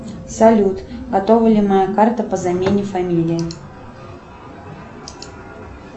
салют готова ли моя карта по замене фамилии